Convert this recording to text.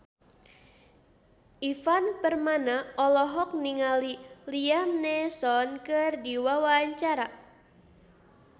Ivan Permana olohok ningali Liam Neeson keur diwawancara